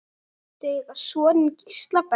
Þau eiga soninn Gísla Berg.